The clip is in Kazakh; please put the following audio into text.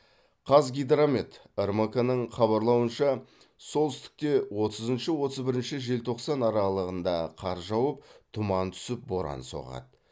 қазгидромет рмк ның хабарлауынша солтүстікте отызыншы отыз бірінші желтоқсан аралығында қар жауып тұман түсіп боран соғады